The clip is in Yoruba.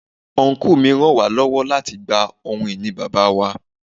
Ọnkú mi ràn wá lọ́wọ́ láti gba ohun ìní Bàbá wa.